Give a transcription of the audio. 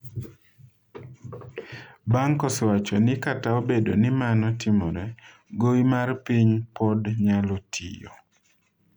"Bank osewacho ni kata obedo ni mano timore, ""gowi mar piny pod nyalo tiyo"".